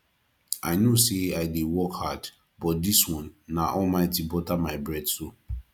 i know sey i dey work hard but dis one na almighty butter my bread so